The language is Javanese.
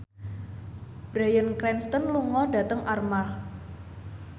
Bryan Cranston lunga dhateng Armargh